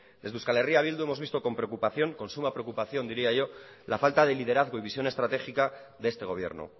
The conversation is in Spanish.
desde euskal herria bildu hemos visto con suma preocupación diría yo la falta de liderazgo y visión estratégica de este gobierno